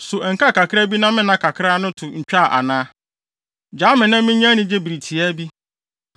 So ɛnkaa kakraa bi na me nna kakraa no to ntwaa ana? Gyaa me na minya anigye bere tiaa bi